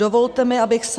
Dovolte mi, abych se...